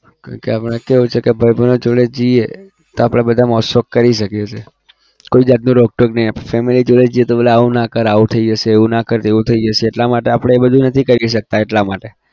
કારણ કે આપણે કેવું છે કે ભાઈબંધો જોડે જઈએ તો આપણા બધા મોજ શોખ કરી શકીએ છીએ. કોઈ જાતની રોક ટોક નહિ family જોડે જઈએ તો બોલે આવું ના કર આવું થઇ જશે એવું ના કર એવું થઇ જશે એટલા માટે આપણે એ બધું નથી કરી શકતા એટલા માટે